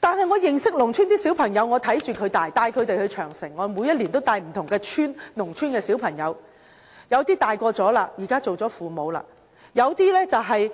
但是，我認識農村的小朋友，我看着他們長大，我帶他們到萬里長城，每年都會帶不同農村的小朋友去，他們有些長大了，現在當了父母；有些只是